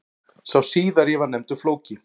Sá síðari var nefndur Flóki.